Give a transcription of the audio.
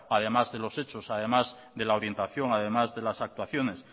además de los hechos además de la orientación además de las actuaciones